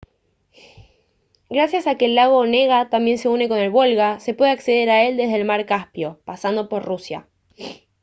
gracias a que el lago onega también se une con el volga se puede acceder a él desde el mar caspio pasando por rusia